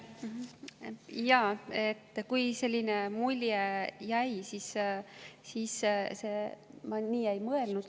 Kui selline mulje jäi, siis ma nii ei mõelnud.